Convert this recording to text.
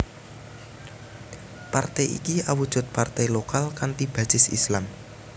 Partai iki awujud partai lokal kanthi basis Islam